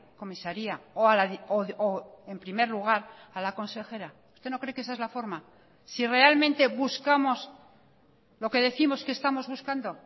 comisaría o en primer lugar a la consejera usted no cree que esa es la forma si realmente buscamos lo que décimos que estamos buscando